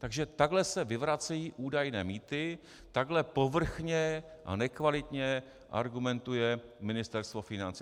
Takže takhle se vyvracejí údajné mýty, takhle povrchně a nekvalitně argumentuje Ministerstvo financí.